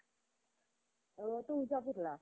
तुळजापूरला.